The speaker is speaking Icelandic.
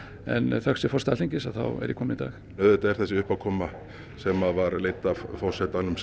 en þökk sé forseta Alþingis þá er ég kominn í dag auðvitað er þessi uppákoma sem var leidd af forsetanum